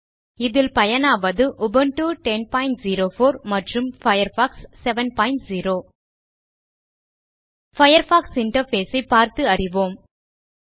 இதில் பயனாவது உபுண்டு 1004 மற்றும் பயர்ஃபாக்ஸ் 70 பயர்ஃபாக்ஸ் இன்டர்ஃபேஸ் ஐ பார்த்து அறிவோம்